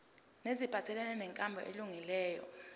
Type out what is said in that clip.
neziphathelene nenkambo elungileyo